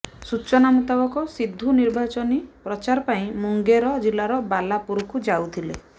ସୂଚନା ମୁତାବକ ସିଦ୍ଧୁ ନିର୍ବାଚନୀ ପ୍ରଚାର ପାଇଁ ମୁଙ୍ଗେର ଜିଲ୍ଲାର ବାଲାପୁରକୁ ଯାଉଥିଲେ